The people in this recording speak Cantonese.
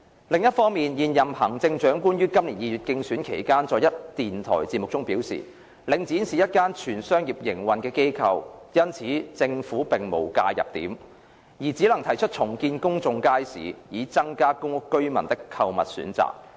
另一方面，現任行政長官於今年2月競選期間在一電台節目中表示，領展是一間全商業營運的機構，因此政府並無介入點，而只能提出重建公眾街市，以增加公屋居民的購物選擇。